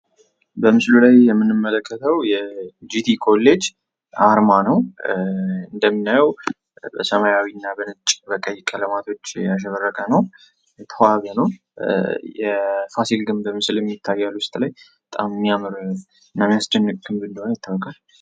በምስሉ ላይ የምንመለከተው የጂቲ ኮሌጅ አርማ ነው ። እንደምናየው በሰማያዊ እና በነጭ በቀይ ቀለማቶች ያሸበረቀ ነው የተዋበ ነው። የፋሲል ግንብም ምስልም ይታያል ውስጥ ላይ በጣም ሚያምር እና ሚያስጨንቅ ግንብ እንደሆነ ይታወቃል ።